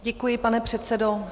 Děkuji, pane předsedo.